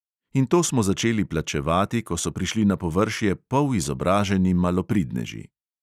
In to smo začeli plačevati, ko so prišli na površje polizobraženi malopridneži.